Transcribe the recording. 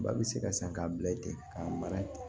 Ba bɛ se ka san k'a bila yen ten ka mara ten